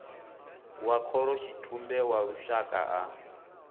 wa khorotshitumbe wa lushaka a